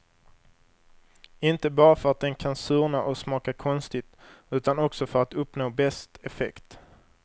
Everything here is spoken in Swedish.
Inte bara för att den kan surna och smaka konstigt, utan också för att uppnå bäst effekt.